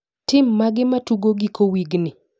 Tim mage matugo giko wigni?